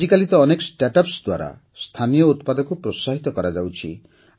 ଆଜିକାଲି ତ ଅନେକ ଷ୍ଟାର୍ଟ ଅପ୍ସ ଦ୍ୱାରା ସ୍ଥାନୀୟ ଉତ୍ପାଦକୁ ପ୍ରୋତ୍ସାହିତ କରାଯାଉଛି